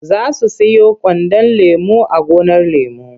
Za su siyo kwandon lemo a gonar lemo.